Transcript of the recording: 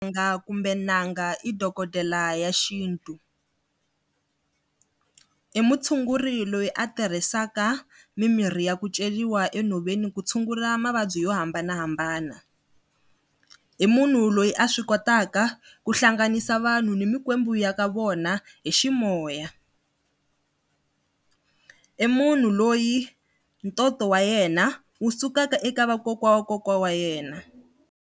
kumbe n'anga i dokodela ya xintu. I mutshunguri loyi a tirhisaka mimirhi ya ku ceriwa enhoveni ku tshungula mavabyi yo hambanahambana. I munhu loyi a swi kotaka ku hlanganisa vanhu ni mikwembu ya ka vona hi ximoya. I munhu loyi ntoto wa yena wu sukaka eka vakokwa wa kokwana wa yena.